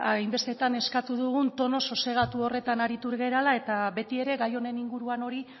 hainbestetan eskatu dugun tonu sosegatu horretan aritu garela eta beti ere gai honen inguruan hori